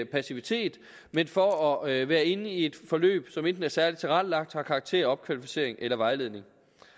passivitet men for at være inde i et forløb som enten er særligt tilrettelagt har karakter af opkvalificering eller vejledning